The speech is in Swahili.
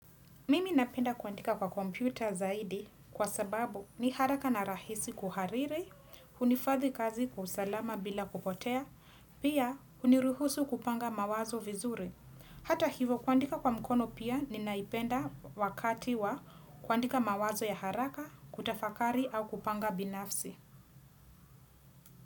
Mimi napenda kuandika kwa kompyuta zaidi kwa sababu ni haraka na rahisi kuhariri, hunifadhi kazi kusalama bila kupotea, pia huniruhusu kupanga mawazo vizuri. Hata hivo kuandika kwa mkono pia ninaipenda wakati wa kuandika mawazo ya haraka, kutafakari au kupanga binafsi.